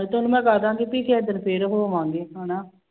ਤੇ ਉਹਨੂੰ ਮੈਂ ਕਹਿ ਦੇਵਾਂਗੀ ਵੀ ਕਿਸੇ ਦਿਨ ਫਿਰ ਹੋਵਾਂਗੇ ਹਨਾ।